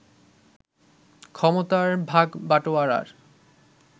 ক্ষমতার ভাগবাটোয়ারার